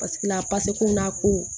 Paseke la a ko